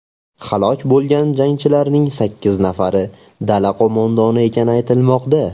Halok bo‘lgan jangarilarning sakkiz nafari dala qo‘mondoni ekani aytilmoqda.